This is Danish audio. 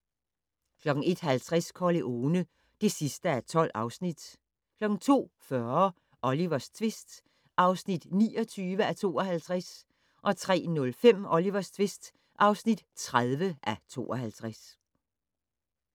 01:50: Corleone (12:12) 02:40: Olivers tvist (29:52) 03:05: Olivers tvist (30:52)